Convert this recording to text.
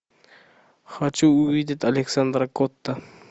хочу увидеть александра котта